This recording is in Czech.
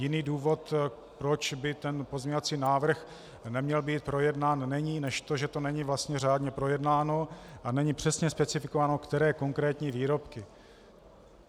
Jiný důvod, proč by tento pozměňovací návrh neměl být projednán, není než to, že to není vlastně řádně projednáno a není přesně specifikováno, které konkrétní výrobky.